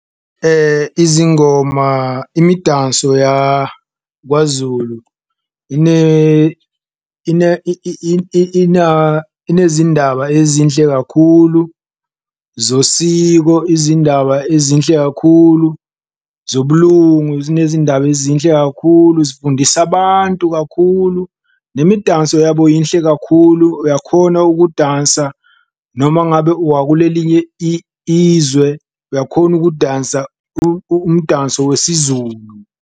Izingoma, imidanso yakwaZulu inezindaba ezinhle kakhulu zosiko, izindaba ezinhle kakhulu zobulungu, zinezindaba ezinhle kakhulu zifundisa abantu kakhulu, nemidanso yabo yinhle kakhulu. Uyakhona ukudansa noma ngabe uwakulelinye izwe uyakhona ukudansa umdanso wesiZulu.